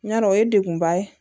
Yarɔ o ye degunba ye